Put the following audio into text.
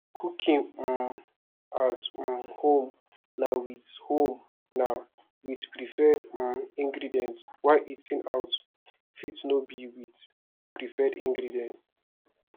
cooking um at um home na with home na with preferred um ingredients while eating out fit no be with preferred ingredients